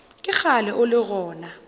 ke kgale o le gona